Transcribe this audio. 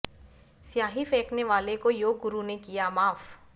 स्याही फेंकने वाले को योग गुरु ने किया माफ